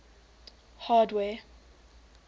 hardware